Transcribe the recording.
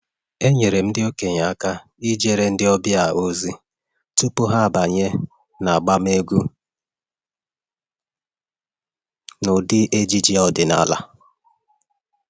enyere m ndị okenye aka ijere ndị ọbịa ozi tupu ha abanye n’agba egwú n’ụdị ejiji ọdịnala